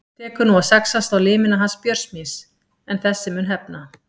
Tekur nú að saxast á limina hans Björns míns en þessi mun hefna.